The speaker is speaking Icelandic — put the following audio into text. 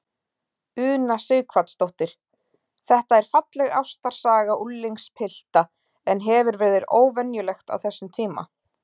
Una Sighvatsdóttir: Þetta er falleg ástarsaga unglingspilta, en hefur verið óvenjulegt á þessum tíma?